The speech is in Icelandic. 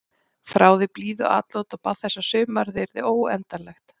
Þráði blíðuatlot og bað þess að sumarið yrði óendanlegt.